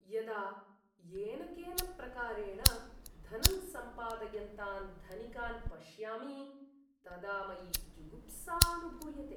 यदा येन केन प्रकारेण धनं सम्पादयन्तान् धनिकान् पश्यामि तदा मयि जुगुप्सा अनुभूयते।